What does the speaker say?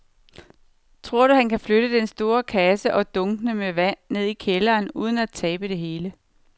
Tror du, at han kan flytte den store kasse og dunkene med vand ned i kælderen uden at tabe det hele?